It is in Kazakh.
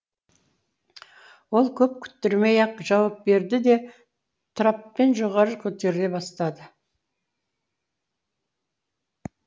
ол көп күттірмей ақ жауап берді де траппен жоғары көтеріле бастады